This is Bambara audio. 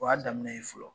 O y'a daminɛ ye fɔlɔ